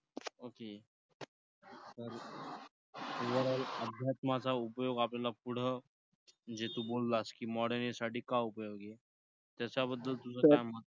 okay तर अध्यात्माचा उपयोग आपल्याला पुढं म्हणजे तू बोललास की modern age साठी का उपयोगी आहे? त्याच्याबद्दल तुझं काय मत?